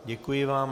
Děkuji vám.